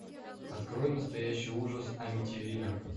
открой настоящий ужас амитивилля